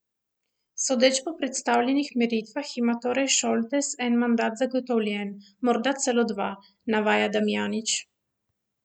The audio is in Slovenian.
Sodeč po predstavljenih meritvah, ima torej Šoltes en mandat zagotovljen, morda celo dva, navaja Damjanić.